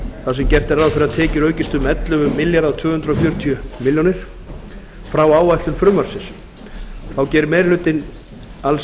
þar sem gert er ráð fyrir að tekjur ríkissjóðs aukist um ellefu þúsund tvö hundruð fjörutíu er frá áætlun frumvarpsins þá gerir meiri hlutinn alls